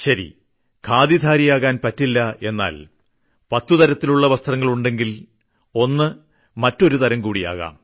ശരി ഖാദിധാരിയാകാൻ പറ്റില്ല എന്നാൽ പത്തുതരത്തിലുള്ള വസ്ത്രങ്ങൾ ഉണ്ടെങ്കിൽ ഒന്ന് മറ്റൊരുതരംകൂടി ആകാം